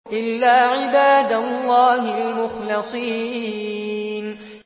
إِلَّا عِبَادَ اللَّهِ الْمُخْلَصِينَ